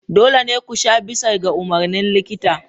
Dole ne ku sha bisa ga umarnin likita.